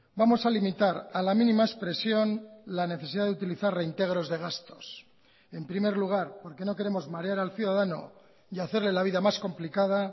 vamos a limitar a la mínima expresión la necesidad de utilizar reintegros de gastos en primer lugar porque no queremos marear al ciudadano y hacerle la vida más complicada